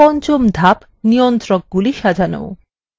পঞ্চম ধাপ নিয়ন্ত্রকগুলি সাজানো